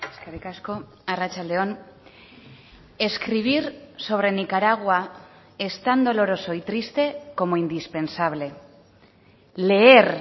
eskerrik asko arratsalde on escribir sobre nicaragua es tan doloroso y triste como indispensable leer